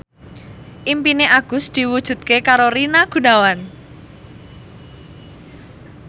impine Agus diwujudke karo Rina Gunawan